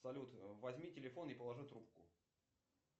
салют возьми телефон и положи трубку